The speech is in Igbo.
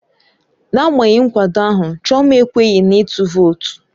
N'agbanyeghị nkwado ahụ, Chioma ekweghị na ịtụ vootu.